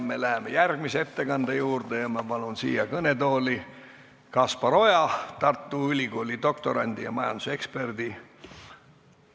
Me läheme järgmise ettekande juurde ja ma palun siia kõnetooli Kaspar Oja, Tartu Ülikooli doktorandi ja majanduseksperdi.